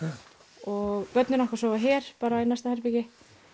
og börnin okkar sofa hér bara í næsta herbergi